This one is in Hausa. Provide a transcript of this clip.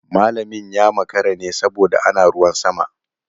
Malamin ya makara ne saboda ana ruwan sama.